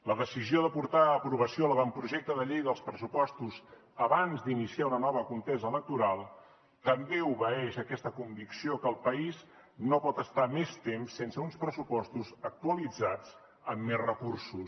la decisió de portar a aprovació l’avantprojecte de llei de pressupostos abans d’iniciar una nova contesa electoral també obeeix a aquesta convicció que el país no pot estar més temps sense uns pressupostos actualitzats amb més recursos